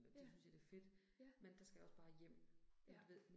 Ja. Ja. Ja